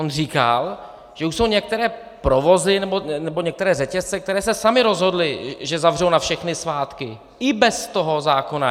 On říkal, že už jsou některé provozy nebo některé řetězce, které se samy rozhodly, že zavřou na všechny svátky i bez toho zákona.